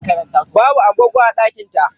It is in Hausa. Babu agogo a uwarɗakar ta.